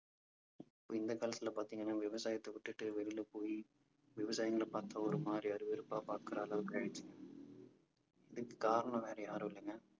இந்த காலத்துல பார்த்தீங்கன்னா விவசாயத்தை விட்டுட்டு வெளியில போயி விவசாயிங்களை பார்த்தா ஒரு மாதிரி அருவருப்பா பாக்குற அளவுக்கு ஆயிடுச்சு. இதுக்கு காரணம் வேற யாரும் இல்லைங்க.